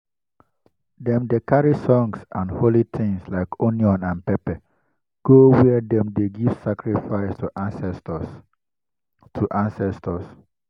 dem dey carry songs and holy things like onion and pepper go where dem dey give sacrifice to ancestors. to ancestors.